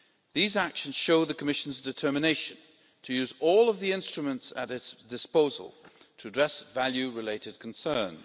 These actions show the Commission's determination to use all of the instruments at its disposal to address value related concerns.